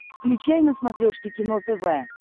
включай на смотрешке кино тв